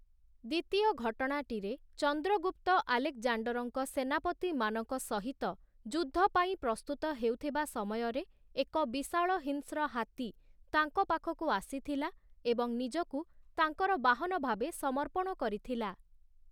ଦ୍ୱିତୀୟ ଘଟଣାଟିରେ, ଚନ୍ଦ୍ରଗୁପ୍ତ ଆଲେକ୍‌ଜାଣ୍ଡର୍‌ଙ୍କ ସେନାପତିମାନଙ୍କ ସହିତ ଯୁଦ୍ଧ ପାଇଁ ପ୍ରସ୍ତୁତ ହେଉଥିବା ସମୟରେ, ଏକ ବିଶାଳ ହିଂସ୍ର ହାତୀ ତାଙ୍କ ପାଖକୁ ଆସିଥିଲା ଏବଂ ନିଜକୁ ତାଙ୍କର ବାହନ ଭାବେ ସମର୍ପଣ କରିଥିଲା ।